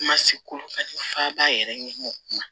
Kuma se ko f'a b'a yɛrɛ ɲɛmɔgɔ kuma